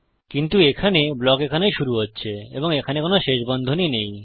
কিন্তু এখানে ব্লক এখানে শুরু হচ্ছে এবং এখানে কোনো শেষ বন্ধনী নেই